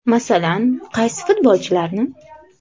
Masalan, qaysi futbolchilarni?